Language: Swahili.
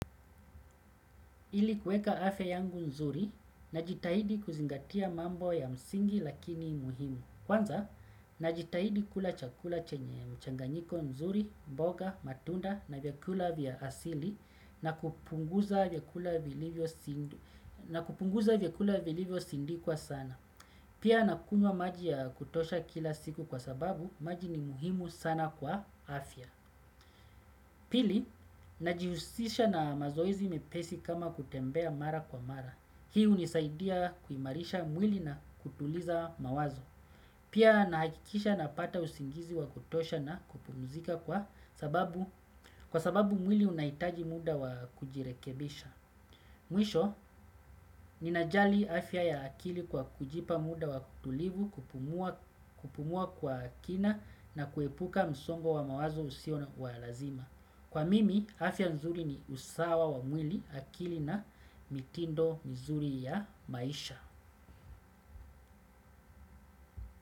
Ili kuweka afya yangu nzuri najitaidi kuzingatia mambo ya msingi lakini muhimu. Kwanza, najitahidi kula chakula chenye mchanganyiko nzuri, mboga, matunda na vyakula vya asili na kupunguza vyakula vilivyo sindikwa sana. Pia nakunywa maji ya kutosha kila siku kwa sababu, maji ni muhimu sana kwa afya. Pili, najihusisha na mazoezi mepesi kama kutembea mara kwa mara. Hii unisaidia kuimarisha mwili na kutuliza mawazo. Pia nahakikisha napata usingizi wa kutosha na kupumuzika kwa sababu mwili unaitaji mda wa kujirekebisha. Mwisho, ninajali afya ya akili kwa kujipa mda wa utulivu kupumua kwa kina na kuepuka msongo wa mawazo usio wa lazima. Kwa mimi, afya nzuri ni usawa wa mwili akili na mitindo nzuri ya maisha.